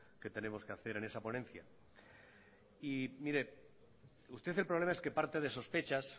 que tenemos que hacer en esa ponencia y mire usted el problema es que parte de sospechas